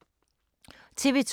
TV 2